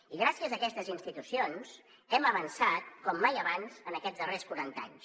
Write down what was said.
i gràcies a aquestes institucions hem avançat com mai abans en aquests darrers quaranta anys